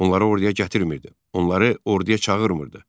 Onları orduya gətirmirdi, onları orduya çağırmırdı.